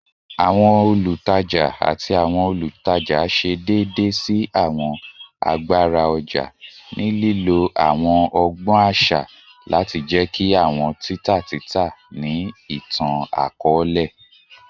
Awọn olutaja ati awọn olutaja ṣe deede si awọn agbara ọja ni lilo awọn ọgbọn aṣa lati jẹki awọn tita tita ni itan-akọọlẹ